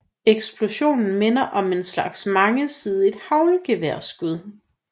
Eksplosionen minder om en slags mangesidet haglgeværskud